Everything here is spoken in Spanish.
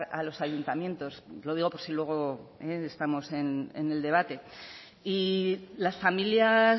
a los ayuntamientos lo digo por si luego estamos en el debate y las familias